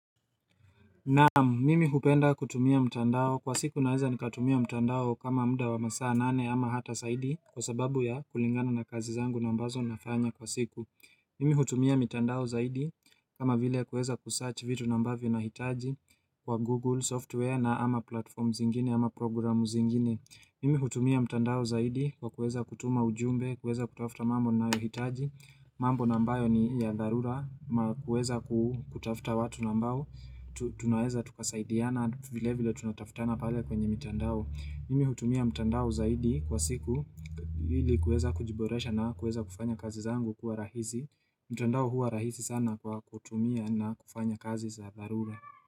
Naam, mimi hupenda kutumia mtandao. Kwa siku naweza nikatumia mtandao kama muda wa masaa nane ama hata zaidi kwa sababu ya kulingana na kazi zangu nambazo nafanya kwa siku. Mimi hutumia mtandao zaidi kama vile kueza kusearch vitu nambavyo na hitaji kwa Google software na ama platforms ingine ama programu zingine. Mimi hutumia mtandao zaidi kwa kueza kutuma ujumbe, kueza kutafuta mambo na hitaji. Mambo na ambayo ni ya dharura. Na kuweza kutafuta watu na ambao tunaweza tukasaidiana vile vile tunataftana pale kwenye mtandao mimi hutumia mtandao zaidi kwa siku ili kueza kujiboresha na kueza kufanya kazi zangu kuwa rahisi mtandao huwa rahisi sana kwa kutumia na kufanya kazi za dharura.